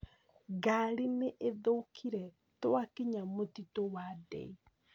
Ngarĩ nĩ ĩrĩthũkire twakinya mũtitũ wa dei